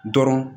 Dɔrɔn